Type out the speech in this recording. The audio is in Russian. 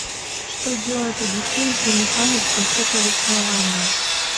что делает одиссей с женихами в конце повествования